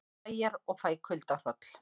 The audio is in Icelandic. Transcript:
Klæjar og fæ kuldahroll